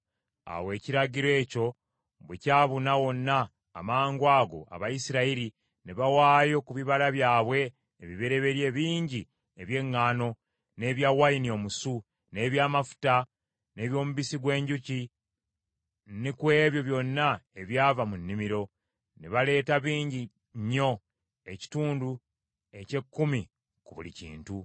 Awo ekiragiro ekyo bwe kyabuna wonna, amangwago Abayisirayiri ne bawaayo ku bibala byabwe ebibereberye bingi eby’eŋŋaano, n’ebya wayini omusu, n’eby’amafuta, n’eby’omubisi gw’enjuki ne ku ebyo byonna ebyava mu nnimiro. Ne baleeta bingi nnyo, ekitundu eky’ekkumi ku buli kintu.